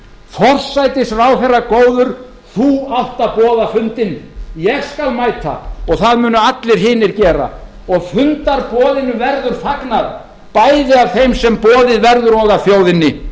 forsætisráðherra góður þú átt að boða fundinn ég skal mæta og það munu allir hinir gera og fundarboðinu verður fagnað bæði af þeim sem boðið verður og af þjóðinni